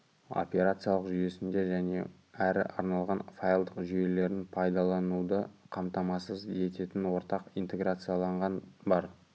операциялық жүйесінде және әрі арналған файлдық жүйелерін пайдалануды қамтамасыз ететін ортақ интеграцияланған бар